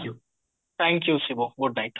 thank you Shiva good night